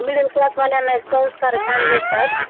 middle class वाल्याना एक संस्कार छान भेटतात